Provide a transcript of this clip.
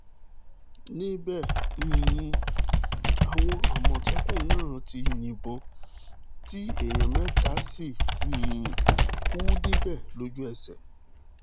níbẹ̀ um làwọn àmọ̀tẹ́kùn náà ti yìnbọn tí èèyàn mẹ́ta sì um kú níbẹ̀ lójú ẹsẹ̀